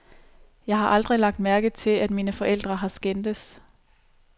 Jeg har aldrig lagt mærke til, at mine forældre har skændtes.